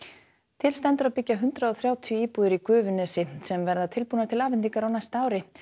til stendur að byggja hundrað og þrjátíu íbúðir í Gufunesi sem verða tilbúnar til afhendingar á næsta ári